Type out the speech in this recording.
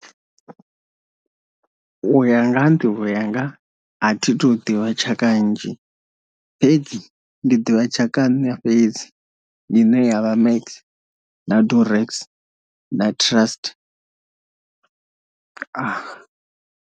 U ya nga ha nḓivho yanga a thi tu ḓivha tshaka nnzhi fhedzi ndi ḓivha tshaka ya nṋa fhedzi ine yavha max na durex na trust .